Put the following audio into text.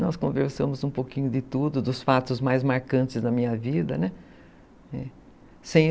Nós conversamos um pouquinho de tudo, dos fatos mais marcantes da minha vida, né?